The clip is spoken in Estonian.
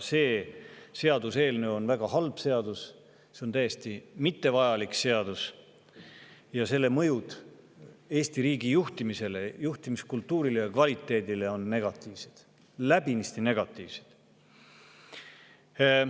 See seaduseelnõu on väga halb, see on täiesti ebavajalik seadus ning selle mõjud Eesti riigi juhtimisele, juhtimiskultuurile ja kvaliteedile on negatiivsed, läbinisti negatiivsed.